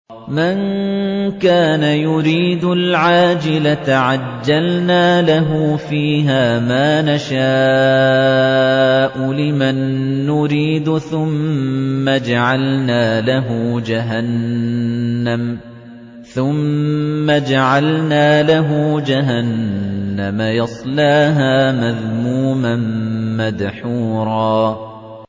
مَّن كَانَ يُرِيدُ الْعَاجِلَةَ عَجَّلْنَا لَهُ فِيهَا مَا نَشَاءُ لِمَن نُّرِيدُ ثُمَّ جَعَلْنَا لَهُ جَهَنَّمَ يَصْلَاهَا مَذْمُومًا مَّدْحُورًا